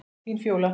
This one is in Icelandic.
Þín, Fjóla.